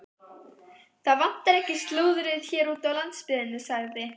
Það vantar ekki slúðrið hér úti á landsbyggðinni sagði